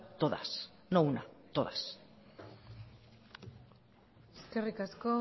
todas no una todas eskerrik asko